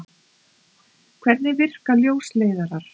Hvernig virka ljósleiðarar?